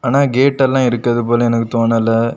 ஆனா கேட் எல்லாம் இருக்குது போல எனக்கு தோணல.